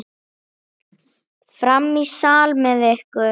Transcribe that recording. Fram í sal með ykkur!